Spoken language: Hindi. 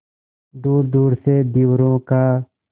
दूरदूर से धीवरों का